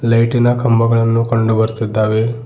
ಲೈಟಿ ನ ಕಂಬಗಳನ್ನು ಕಂಡು ಬರುತ್ತಿದ್ದಾವೆ.